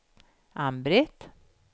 Ann-Britt